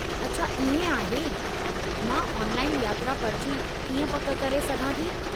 अच्छा इएं आहे! मां ऑनलाइन यात्रा पर्ची कीअं पक करे सघां थी?